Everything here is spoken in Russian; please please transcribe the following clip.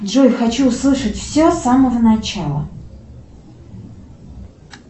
джой хочу услышать все с самого начала